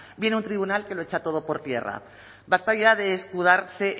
viene un tribunal que lo echa todo por tierra basta ya de escudarse